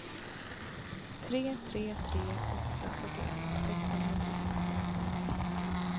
tre tre tre åtta fyrtioett sexhundratrettioåtta